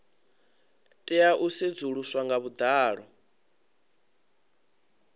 tea u sedzuluswa nga vhuḓalo